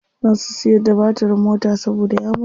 Za su siyar da batirin mota saboda ya mutu.